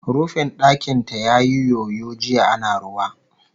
Rufin ɗakin ta yayi yoyo jiya ana ruwa